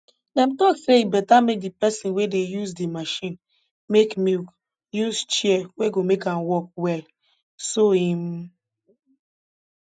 dem talk say e beta make di person wey dey use di machine make milk use chair wey go make am work well so im